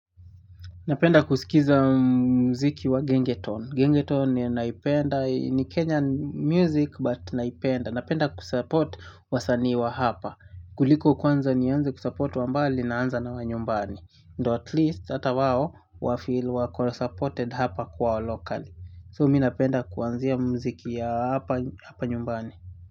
Napenda kusikiza muziki wa gengetone. Gengetone ninaipenda. Ni Kenyan music but naipenda. Napenda ku support wasanii wa hapa. Kuliko kwanza nianze ku support wa mbali naanza na wa nyumbani. Ndo at least hata wao wafeel wako supported hapa kwao lokali. So mi napenda kuanzia muziki ya hapa nyumbani.